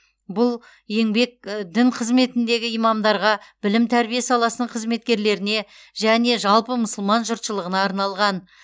бұл еңбек дін қызметіндегі имамдарға білім тәрбие саласының қызметкерлеріне және жалпы мұсылман жұртшылығына арналған